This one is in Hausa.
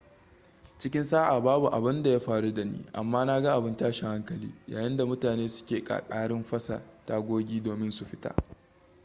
cikin sa'a babu abun da ya faru da ni amma na ga abun tashin hankali yayin da mutane suke ƙaƙarin fasa tagogi domin su fita